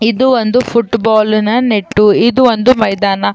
ಇದು ಒಂದು ಫುಟ್ಬಾಲ್ ನ ನೆಟ್ಟು ಇದು ಒಂದು ಮೈದಾನ.